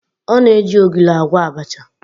Ọ na-eji ogiri agwọ abacha